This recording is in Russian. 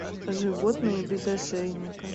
животные без ошейника